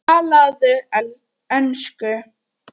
Talaðu ensku!